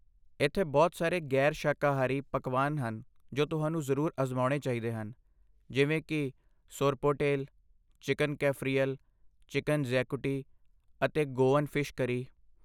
ਇੱਥੇ ਬਹੁਤ ਸਾਰੇ ਗ਼ੈਰ ਸ਼ਾਕਾਹਾਰੀ ਪਕਵਾਨ ਹਨ ਜੋ ਤੁਹਾਨੂੰ ਜ਼ਰੂਰ ਅਜ਼ਮਾਉਣੇ ਚਾਹੀਦੇ ਹਨ ਜਿਵੇਂ ਕਿ ਸੋਰਪੋਟੇਲ, ਚਿਕਨ ਕੈਫਰੀਅਲ, ਚਿਕਨ ਜ਼ੈਕੂਟੀ, ਅਤੇ ਗੋਆਨ ਫਿਸ਼ ਕਰੀ